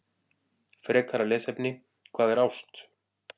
Frekara lesefni: Hvað er ást?